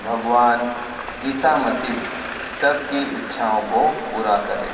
भगवान ईसा मसीह सबकी इच्छाओं को पूरा करे।